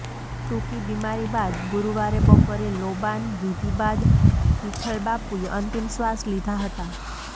ટૂંકી બીમારી બાદ ગુરૂવારે બપોરે લોબાન વીધી બાદ વિઠ્ઠલબાપુએ અંતિમશ્વાસ લીધા હતા